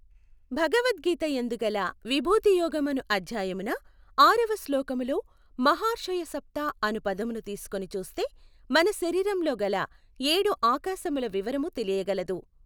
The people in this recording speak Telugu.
భగవద్గీత యందుగల విభూతియోగమనుఅధ్యాయమున ఆరవ శ్లోకములో మహార్షయ సప్త అను పదమును తీసుకొని చూస్తే మన శరీరములోగల ఏడు ఆకాశముల వివరము తెలియ గలదు.